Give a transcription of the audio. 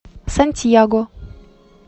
сантьяго